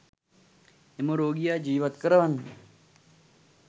එම රෝගියා ජිවත් කරවන්න